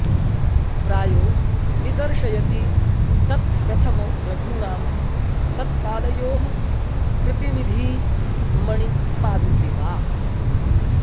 प्रायो निदर्शयति तत्प्रथमो रघूणां तत्पादयोः प्रतिनिधी मणिपादुके वा